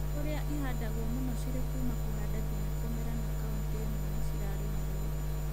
Kũrĩa ihandagwo mũno cirĩ kuuma kũhanda nginya kũmera na kauntĩ imwe nĩcirarĩmĩrwo